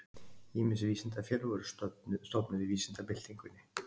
Ýmis vísindafélög voru stofnuð í vísindabyltingunni.